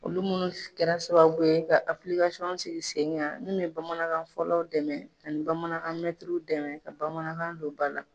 Olu minnu kɛra sababu ye ka aplikasɔn sigi sen ka min bɛ bamanankanfɔlaw dɛmɛ ani bamanankan mɛntiriw dɛmɛ ka bamanankan don ba la.